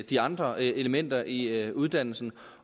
de andre elementer i uddannelsen